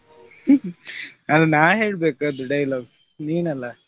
ಅದು ನಾನ್ ಹೇಳ್ಬೇಕು ಅದು dialogue ನೀನಲ್ಲ.